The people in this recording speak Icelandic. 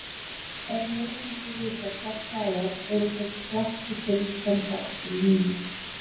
Ef lesendur vita hvert það er, eru þeir hvattir til að senda okkur línu.